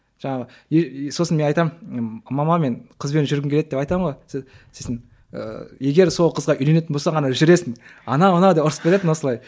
жаңағы сосын мен айтамын мама мен қызбен жүргім келеді деп айтамын ғой сосын ыыы егер сол қызға үйленетін болсаң ғана жүресің анау мынау деп ұрысып кететін осылай